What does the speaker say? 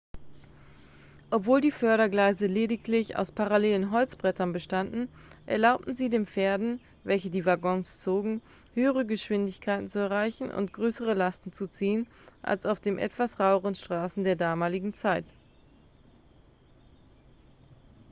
obwohl die fördergleise lediglich aus parallelen holzbrettern bestanden erlaubten sie den pferden welche die waggons zogen höhere geschwindigkeiten zu erreichen und größere lasten zu ziehen als auf den etwas raueren straßen der damaligen zeit